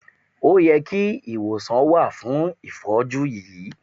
O yẹ kí ìwòsàn wà fún ìfọ́jú yìí.